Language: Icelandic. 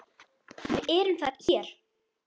VIÐ ERUM ÞAR HÉR